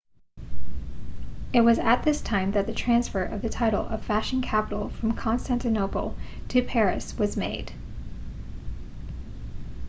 it was at this time that the transfer of the title of fashion capital from constantinople to paris was made